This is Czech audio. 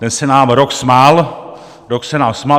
Ten se nám rok smál, rok se nám smál!